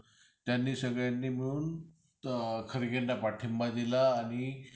आणि वार्षिक परीक्षा म्हटली कि सर्वजण अभ्य्साला लागायचे परीक्षेचे वेळापत्रक notice board वर लावले कि सर्वांची धावपळ व्हायची आणि विद्याथी हुशार